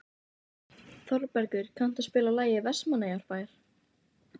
Hann boðaði mig þangað í skyndi.